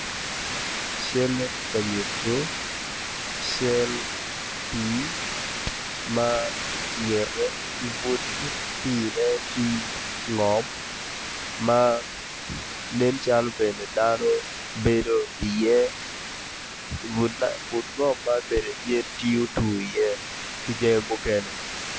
Calle ti ka nyutu pii ma ingete ki butte pii-ne ti ngom ma nen calo bene dano gibedi iye but lobo man bene yen ti otu iye ki jami mukene